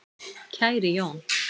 Kæri Jón